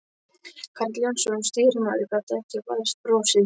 Karl Jónsson, stýrimaður, gat ekki varist brosi.